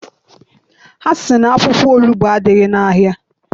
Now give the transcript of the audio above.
Ha sị na akwụkwọ onugbu adịghị n'ahịa.